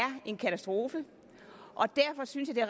en katastrofe og derfor synes jeg